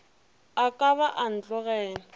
a ka ba a ntogela